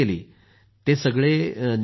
ते सगळे निगेटिव्ह होते